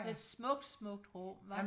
Det et smukt smukt rum hva?